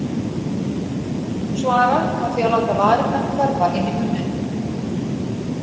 Hún svarar með því að láta varirnar hverfa inn í munninn.